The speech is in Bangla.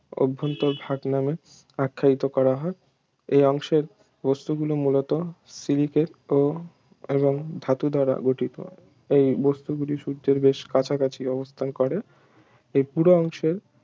অভ্যন্তরভাগ নামে আখ্যায়িত করা হয় এ অংশের বস্তুগুলো মূলত সিলিকেট ও এবং ধাতু দ্বারা গঠিত এই বস্তুগুলো সূর্যের বেশ কাছাকাছি অবস্থান করে এই পুরো অংশ